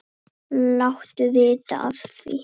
Láttu vita af því.